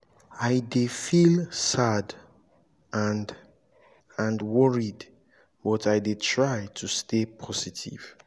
i dey feel sad and and worried but i dey try to stay positive.